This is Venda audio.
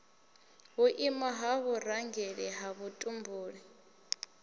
vhuimo ha vhurangeli ha vhutumbuli